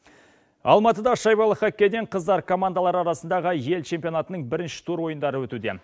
алматыда шайбалы хоккейден қыздар командалары арасындағы ел чемпионатының бірінші тур ойындары өтуде